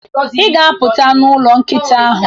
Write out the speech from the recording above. ị ga-apụt n'ụlọ nkịta ahụ.